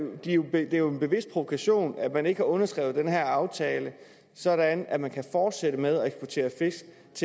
det er jo en bevidst provokation at man ikke har underskrevet den her aftale sådan at man kan fortsætte med